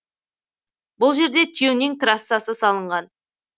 бұл жерде тюнинг трассасы салынған